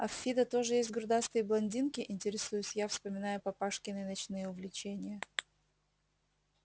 а в фидо тоже есть грудастые блондинки интересуюсь я вспоминая папашкины ночные увлечения